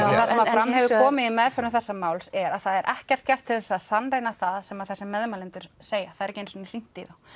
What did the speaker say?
fram hefur komið í meðferðum þessa máls er að það er ekkert gert til þess að sannreyna það sem að þessir meðmælendur segja það er ekki einu sinni hringt í þá